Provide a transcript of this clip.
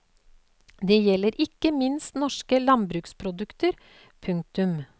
Det gjelder ikke minst norske landbruksprodukter. punktum